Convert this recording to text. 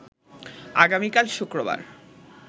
আগামীকাল শুক্রবার